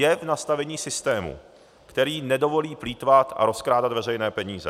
Je v nastavení systému, který nedovolí plýtvat a rozkrádat veřejné peníze.